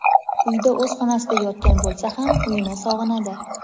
uyda o‘z xonasida yotgan bo‘lsa ham, "uy"ini sog‘inadi.